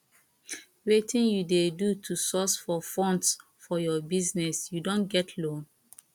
wetin you dey do to source for funds for your business you don get loan